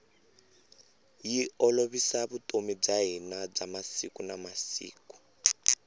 yi olovisa vutomi bya hina bya siku na siku